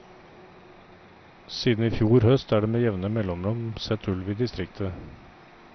Siden i fjor høst er det med jevne mellomrom sett ulv i distriktet.